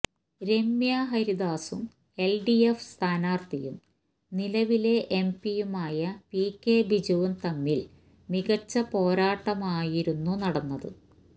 രമ്യ ഹരിദാസും എല്ഡിഎഫ് സ്ഥാനാര്ഥിയും നിലവിലെ എംപിയുമായ പി കെ ബിജുവും തമ്മില് മികച്ച പോരാട്ടമായിരുന്നു നടന്നത്